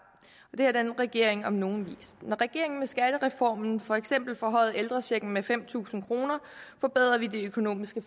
det har denne regering om nogen vist når regeringen med skattereformen for eksempel forhøjede ældrechecken med fem tusind kr forbedrede vi de økonomiske